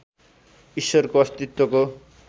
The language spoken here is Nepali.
ईश्वरको अस्तित्वको